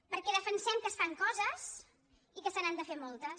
perquè defensem que es fan coses i que se n’han de fer moltes